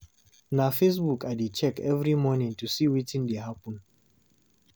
Na Facebook I dey check every morning to see wetin dey happen.